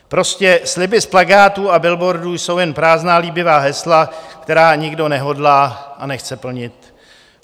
Prostě sliby z plakátů a billboardů jsou jen prázdná líbivá hesla, která nikdo nehodlá a nechce plnit.